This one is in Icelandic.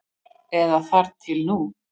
Eða þar til nú.